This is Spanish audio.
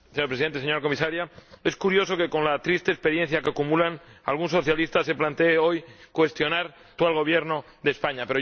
Señor Presidente, señora Comisaria, es curioso que, con la triste experiencia que acumulan, algún socialista se plantee hoy cuestionar leyes del actual Gobierno de España.